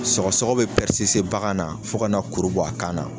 Sɔgɔsɔgɔ be bagan na fo kana kuru bɔ a kan na